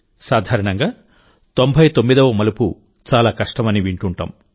సాధారణంగా తొంభైతొమ్మిదవ మలుపు చాలా కష్టం అని వింటుంటాం